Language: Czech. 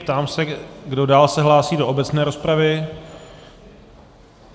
Ptám se, kdo dál se hlásí do obecné rozpravy.